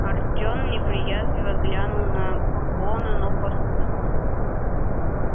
артём неприязненно глянул на бурбона но послушался